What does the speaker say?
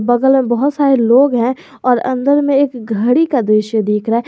बगल में बहुत सारे लोग हैं और अंदर में एक घड़ी का दृश्य दिख रहा है।